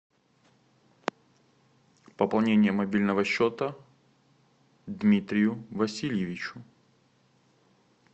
пополнение мобильного счета дмитрию васильевичу